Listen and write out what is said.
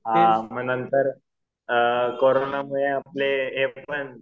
हां नंतर कोरोनामुळे आपले एकपण